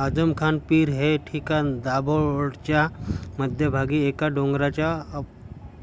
आझमखान पीर हे ठिकाण दाभोळच्या मध्यभागी एका डोंगराच्या